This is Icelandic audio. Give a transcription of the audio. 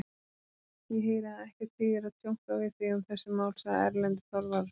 Ég heyri að ekkert þýðir að tjónka við þig um þessi mál, sagði Erlendur Þorvarðarson.